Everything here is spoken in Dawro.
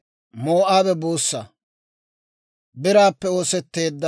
Med'inaa Goday Musa hawaadan yaageedda;